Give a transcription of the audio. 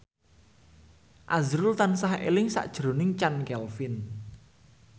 azrul tansah eling sakjroning Chand Kelvin